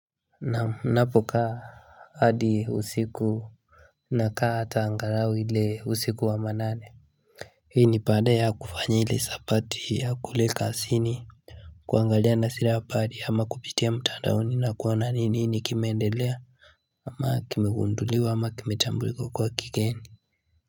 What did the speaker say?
Na napoka hadi usiku na kaa ataangarawi ile usiku wa manane hii ni pade ya kufanyi ili sapati ya kuleka asini kuangalia nasira apari ama kupitia mtadauni na kuwana nini kimeendelea ama akimegunduliwa ama akimetambuliko kwa kigeni.